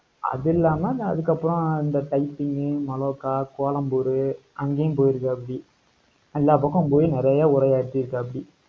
அது இல்லாம, அஹ் அதுக்கப்புறம், இந்த கைச்சிங், மலோக்கா, கோலம்பூரு, அங்கேயும் போயிருக்காப்படி. எல்லா பக்கமும் போய், நிறைய உரையாற்றி இருக்காப்டி.